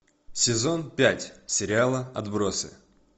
сезон пять сериала отбросы